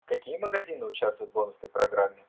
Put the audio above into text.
какие магазины участвуют в бонусной программе